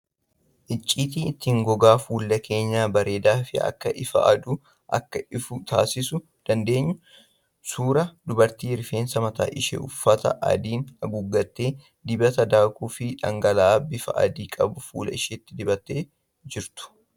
Iccitii ittiin gogaa fuula keenyaa bareedaa fi akka ifa aduu akka ifu taasisuu dandeenyu. Suuraa dubartii rifeensa mataa ishee uffata adiin haguuggattee, dibata daakuu fi dhangala'aa bifa adii qabuun fuula ishee dibattee jirtu.